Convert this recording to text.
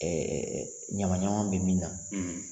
Ɛɛ ɲamanɲaman bɛ min na